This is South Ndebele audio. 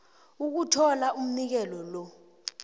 ukuthola umnikelo lo